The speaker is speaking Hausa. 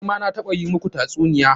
Ni ma na taɓa yi muku tatsuniya.